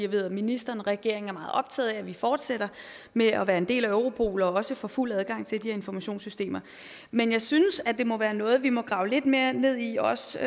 ved at ministeren og regeringen er meget optaget af at vi fortsætter med at være en del af europol og også får fuld adgang til de her informationssystemer men jeg synes at det må være noget vi må grave lidt mere ned i også